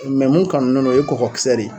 mun kanunen no o ye kɔkɔkisɛ de ye.